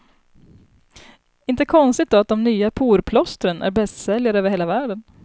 Inte konstigt då att de nya porplåstren är bästsäljare över hela världen.